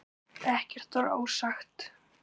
Ekkert var ósagt.